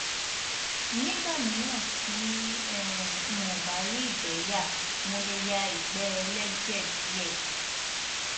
nígbà míràn tí um n ò bá rí ìgbé yà mo lè ya ìgbẹ ẹlẹjẹ díẹ